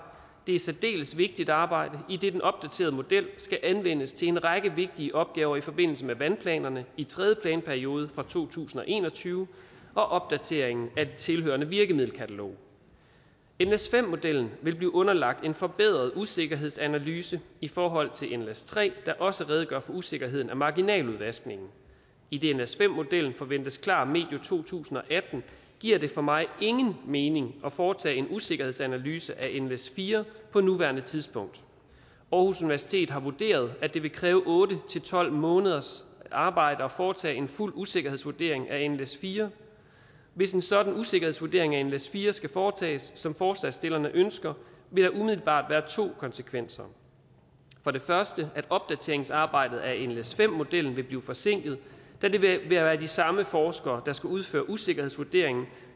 det er et særdeles vigtigt arbejde idet den opdaterede model skal anvendes til en række vigtige opgaver i forbindelse med vandplanerne i tredje planperiode fra to tusind og en og tyve og opdateringen af det tilhørende virkemiddelkatalog nles5 modellen vil blive underlagt en forbedret usikkerhedsanalyse i forhold til nles3 der også redegør for usikkerheden af marginaludvaskningen idet nles5 modellen forventes klar medio to tusind og atten giver det for mig ingen mening at foretage en usikkerhedsanalyse af nles4 på nuværende tidspunkt aarhus universitet har vurderet at det vil kræve otte tolv måneders arbejde at foretage en fuld usikkerhedsvurdering af nles4 hvis en sådan usikkerhedsvurdering af nles4 skal foretages som forslagsstillerne ønsker vil der umiddelbart være to konsekvenser for det første at opdateringsarbejdet af nles5 modellen vil blive forsinket da det vil være de samme forskere der skal udføre usikkerhedsvurderingen